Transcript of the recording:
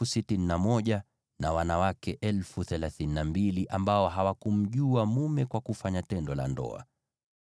na wanawake 32,000 ambao hawakumjua mume kwa kufanya tendo la ndoa.